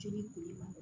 Jeli kule